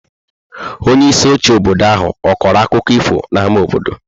Onyeisi oche obodo ahụ ọ̀ kọrọ akụkọ ifo n’ámá obodo?